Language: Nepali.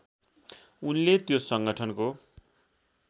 उनले त्यो सङ्गठनको